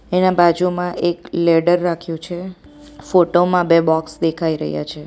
એના બાજુમાં એક લેડર રાખ્યું છે ફોટો માં બે બોક્સ દેખાઈ રહ્યા છે.